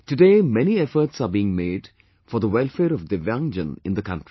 today many efforts are being made for the welfare of Divyangjan in the country